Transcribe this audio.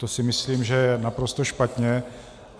To si myslím, že je naprosto špatně.